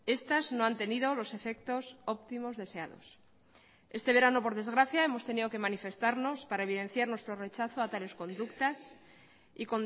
estas no han tenido los efectos óptimos deseados este verano por desgracia hemos tenido que manifestarnos para evidenciar nuestro rechazo a tales conductas y